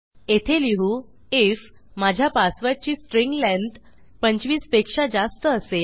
येथे लिहू आयएफ माझा पासवर्डची स्ट्रिंग लेंग्थ 25 पेक्षा जास्त असेल